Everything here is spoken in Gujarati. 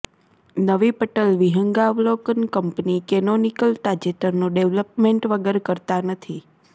નવી પટલ વિહંગાવલોકન કંપની કેનોનિકલ તાજેતરનું ડેવલપમેન્ટ વગર કરતા નથી